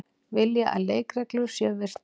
Vilja að leikreglur séu virtar